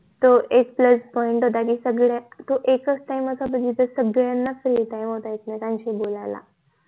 तो एक plus point होता. आणि सगळे तो एक च time असा होता सगळयांना free time होता एक मेकांशी बोलायला